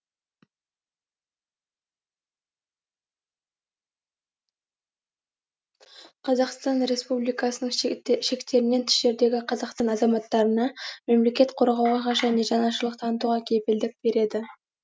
қазақстан республикасының шектерінен тыс жердегі қазақстан азаматтарына мемлекет қорғауға және жанашырлық танытуға кепілдік береді